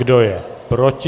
Kdo je proti?